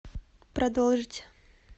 продолжить